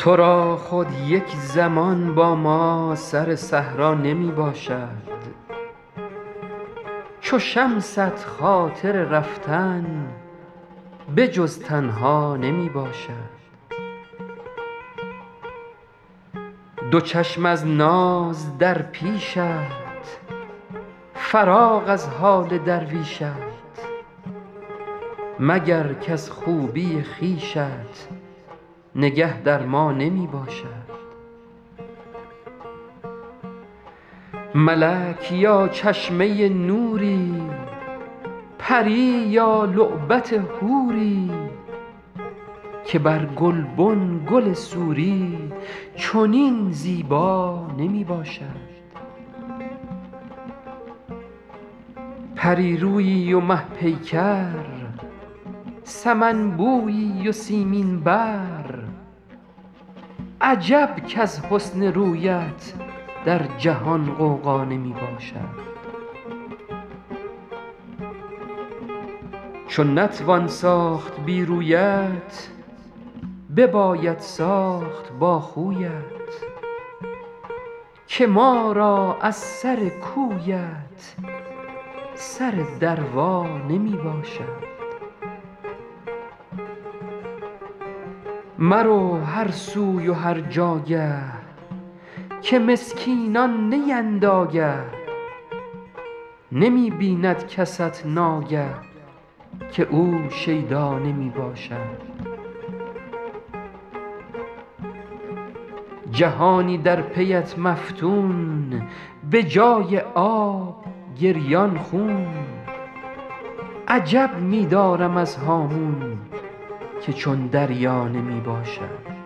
تو را خود یک زمان با ما سر صحرا نمی باشد چو شمست خاطر رفتن به جز تنها نمی باشد دو چشم از ناز در پیشت فراغ از حال درویشت مگر کز خوبی خویشت نگه در ما نمی باشد ملک یا چشمه نوری پری یا لعبت حوری که بر گلبن گل سوری چنین زیبا نمی باشد پری رویی و مه پیکر سمن بویی و سیمین بر عجب کز حسن رویت در جهان غوغا نمی باشد چو نتوان ساخت بی رویت بباید ساخت با خویت که ما را از سر کویت سر دروا نمی باشد مرو هر سوی و هر جاگه که مسکینان نیند آگه نمی بیند کست ناگه که او شیدا نمی باشد جهانی در پی ات مفتون به جای آب گریان خون عجب می دارم از هامون که چون دریا نمی باشد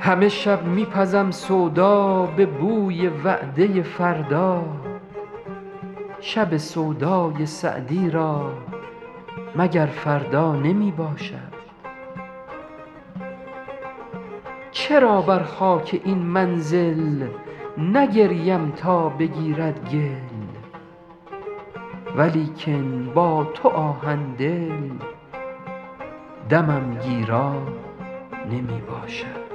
همه شب می پزم سودا به بوی وعده فردا شب سودای سعدی را مگر فردا نمی باشد چرا بر خاک این منزل نگریم تا بگیرد گل ولیکن با تو آهن دل دمم گیرا نمی باشد